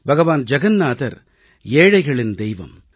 பகவான் ஜகன்நாதர் ஏழைகளின் தெய்வம்